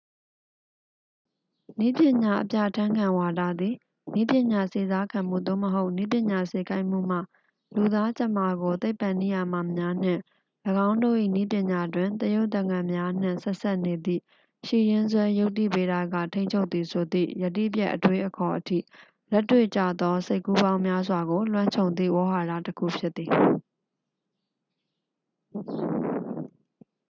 နည်းပညာ အပြဠာန်းခံဝါဒသည် နည်းပညာစေစားခံမှု သို့မဟုတ် နည်းပညာ စေခိုင်းမှုမှ လူသားကြမ္မာကို သိပ္ပံနိယာမများနှင့် ၎င်းတို့၏ နည်းပညာတွင် သရုပ်သကန်များနှင့် ဆက်စပ်နေသည့် ရှိရင်းစွဲ ယုတ္တိဗေဒက ထိန်းချုပ်သည်ဆိုသည့် ယတိပြတ် အတွေးအခေါ်အထိ လက်တွေ့ကျသော စိတ်ကူးပေါင်းများစွာကို လွှမ်းခြုံသည့် ဝေါဟာရတစ်ခု ဖြစ်သည်